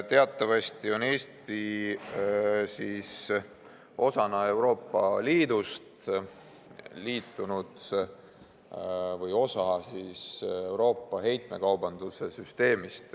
Teatavasti on Eesti osa Euroopa heitmekaubanduse süsteemist.